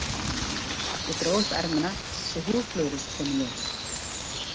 Ég dró upp ermina svo húðflúrið kom í ljós.